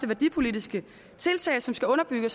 værdipolitiske tiltag som skal underbygge